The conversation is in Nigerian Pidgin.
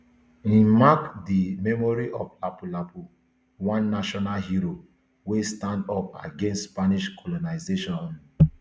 e um mark di memory of lapulapu one national hero wey stand up against spanish colonisation um